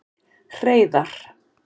Hreiðar